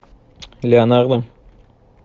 леонардо